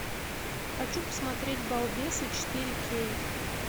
хочу посмотреть балбесы четыре кей